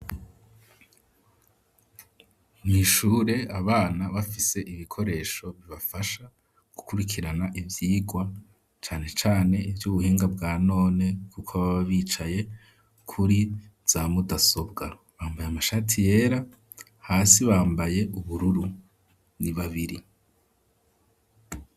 Mw'ishure abana bafise ibikoresho bibafasha gukurikirana ivyirwa cane cane ivyubuhinga bwa none kuko baba bicaye kuri za mudasobwa bambaye amashati yera hasi bambaye ubururu ni babiri.